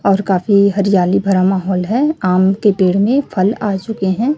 और काफी हरियाली भरा माहौल है आम के पेड़ में फल आ चुके हैं।